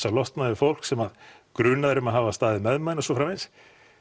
að losna við fólk sem að grunað er um að hafa staðið með manni og svo framvegis